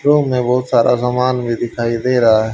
Room में बहुत सारा सामान में दिखाई दे रहा है।